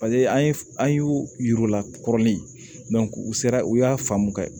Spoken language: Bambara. Paseke an ye an y'u yir'u la kɔrɔlen u sera u y'a faamu ka kɛ